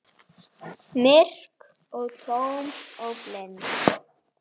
Kynóður með öðrum orðum.